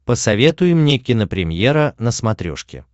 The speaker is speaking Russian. посоветуй мне кинопремьера на смотрешке